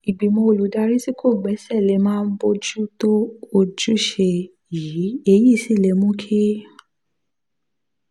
ìgbìmọ̀ olùdarí tí kò gbéṣẹ́ lè máà bójú tó ojúṣe yìí èyí sì lè mú kí